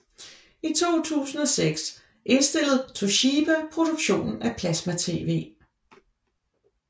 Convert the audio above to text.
I 2006 indstillede Toshiba produktionen af plasmatv